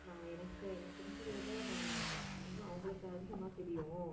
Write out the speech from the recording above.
நான் எனக்கு எனக்கு தெரிஞ்சதை விட நான் இன்னும் அவங்களுக்கு அதிகமா தெரியும்